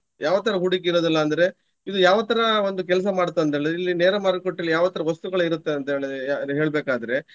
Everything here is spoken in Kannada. ಯಾವ ತರ ಹೂಡಿಕೆ ಇರುದಿಲ್ಲಅಂದ್ರೆ ಇದು ಯಾವ ತರ ಒಂದು ಕೆಲಸ ಮಾಡುತ್ತೆ ಅಂತ ಹೇಳಿದ್ರೆ. ಇಲ್ಲಿ ನೇರ ಮಾರುಕಟ್ಟೆಯಲ್ಲಿ ಯಾವ ತರ ವಸ್ತುಗಳು ಇರುತ್ತೆ ಅಂತ ಹೇಳಿದ್ರೆ ಅದು ಹೇಳ್ಬೆಕಾದ್ರೆ.